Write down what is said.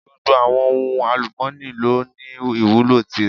Gbogbo àwọn ohun àlùmọ́ni lọ ní ìwúlò tìrẹ.